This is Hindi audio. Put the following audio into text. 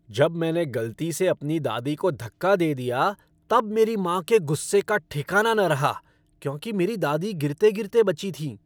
जब मैंने गलती से अपनी दादी को धक्का दे दिया तब मेरी माँ के गुस्से का ठिकाना न रहा क्योंकि मेरी दादी गिरते गिरते बची थीं।